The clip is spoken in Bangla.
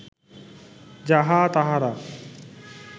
যাহা তাঁহারা